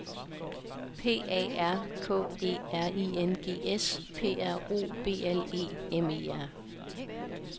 P A R K E R I N G S P R O B L E M E R